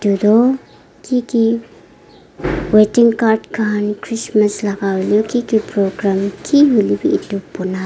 edu tu kiki weeding card khan christmas laka kiki program kihoilae bi edu bana--